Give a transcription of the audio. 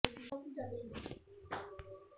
ਕੁਝ ਖਾਸ ਸਥਿਤੀਆਂ ਹੁੰਦੀਆਂ ਹਨ ਜਦੋਂ ਰੈਮ ਨੀਂਦ ਘਟ ਜਾਂ ਘਟਾਈ ਜਾਂਦੀ ਹੈ